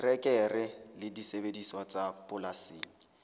terekere le disebediswa tsa polasing